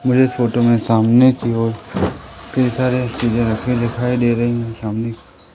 मुझे इस फोटो में सामने की ओर कई सारे चीजें रखी हुई दिखाई दे रही है सामने--